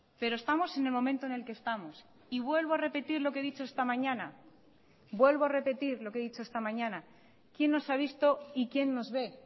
pero estamos en el momento en el que estamos y vuelvo a repetir lo que he dicho esta mañana vuelvo a repetir lo que he dicho esta mañana quién nos ha visto y quién nos ve